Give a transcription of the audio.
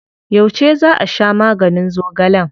Yauce za a sha maganin zogalen?